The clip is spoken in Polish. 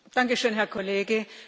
Pani Przewodnicząca!